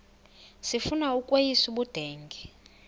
sifuna ukweyis ubudenge